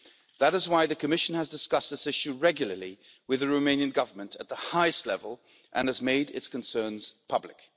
That is why the Commission has discussed this issue regularly with the Romanian Government at the highest level and has made its concerns public.